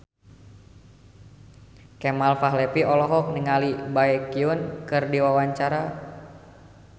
Kemal Palevi olohok ningali Baekhyun keur diwawancara